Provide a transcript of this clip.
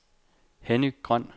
Henny Grøn